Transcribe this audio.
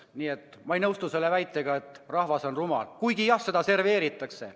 Nii et ma ei nõustu selle väitega, et rahvas on rumal, kuigi jah, seda serveeritakse.